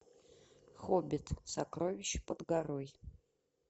хоббит сокровище под горой